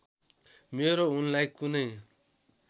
मेरो उनलाई कुनै